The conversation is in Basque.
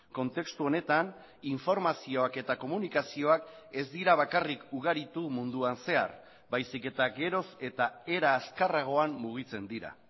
kontestu honetan informazioak eta komunikazioak ez dira bakarrik ugaritu munduan zehar baizik eta geroz eta era azkarragoan mugitzen dira